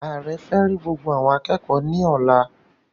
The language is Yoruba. Ààrẹ fẹ rí gbogbo awọn akẹẹkọ ní ọ̀la